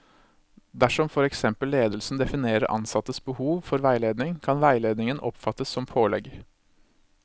Dersom for eksempel ledelsen definerer ansattes behov for veiledning, kan veiledningen oppfattes som pålegg.